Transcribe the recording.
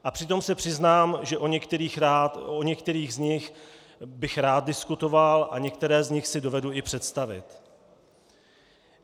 A přitom se přiznám, že o některých z nich bych rád diskutoval a některé z nich si dovedu i představit.